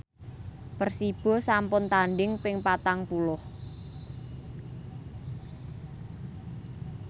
Persibo sampun tandhing ping patang puluh